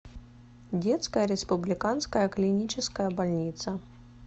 детская республиканская клиническая больница